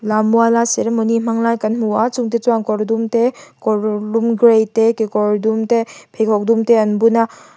lammuala ceremony hmang lai kan hmu a chungte chuan kawr dum te kawr lum grey te kekawr dum te pheikhawk dum te an bun a.